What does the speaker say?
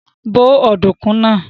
Bó ọ̀dùnkún náà!